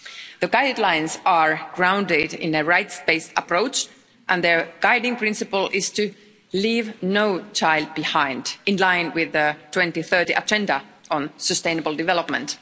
The guidelines are grounded in a rights based approach and their guiding principle is to leave no child behind, in line with the 2030 agenda on sustainable development.